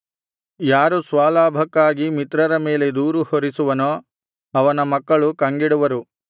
ಯಾರು ಸ್ವಲಾಭಕ್ಕಾಗಿ ಮಿತ್ರರ ಮೇಲೆ ದೂರು ಹೊರಿಸುವನೋ ಅವನ ಮಕ್ಕಳು ಕಂಗೆಡುವರು